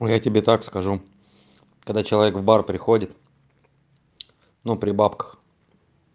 ой я тебе так скажу когда человек в бар приходит но при бабках